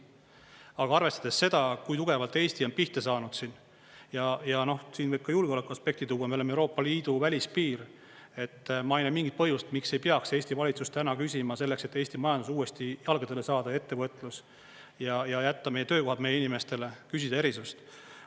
Aga arvestades seda, kui tugevalt Eesti on pihta saanud siin – ja siin võib ka julgeolekuaspekti tuua, me oleme Euroopa Liidu välispiir –, ma ei näe mingit põhjust, miks ei peaks Eesti valitsus täna küsima selleks, et Eesti majanduse uuesti jalgadele saada j ettevõtlus ja jätta meie töökohad meie inimestele, erisust.